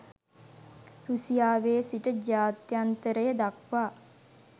රුසියාවේ සිට ජාත්‍යන්තරය දක්වා